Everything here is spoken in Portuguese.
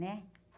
Né?